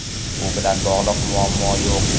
Bu bilan bog‘liq muammo yo‘q.